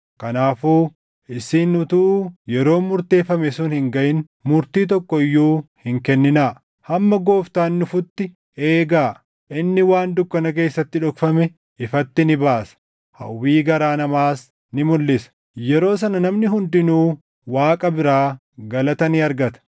Kanaafuu isin utuu yeroon murteeffame sun hin gaʼin murtii tokko iyyuu hin kenninaa; hamma Gooftaan dhufutti eegaa. Inni waan dukkana keessatti dhokfame ifatti ni baasa; hawwii garaa namaas ni mulʼisa. Yeroo sana namni hundinuu Waaqa biraa galata ni argata.